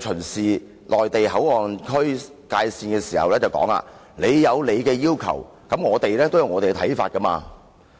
巡視內地口岸區界線，並說："你有你的要求，我們也有我們的看法。